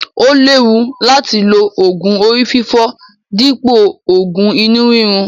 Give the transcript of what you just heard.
Ó léwu láti lo oògùn orí fífọ́ dípò òògùn inú rírun.